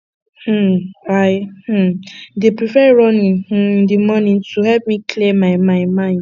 um i um dey prefer running um in the morning to help me clear my my mind